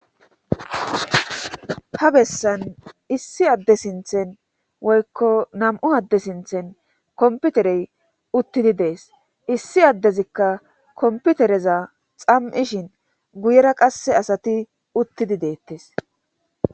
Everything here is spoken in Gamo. Ha bessan issi adde sinthen woykko nam7u adde sinthen komputerey uttidi dees issi addezikka komputereza xam7ishin guyera qasse asati uttidi deettes